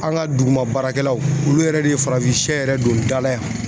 An ka duguma baarakɛlaw olu yɛrɛ de ye farafin sɛ yɛrɛ don ba la yan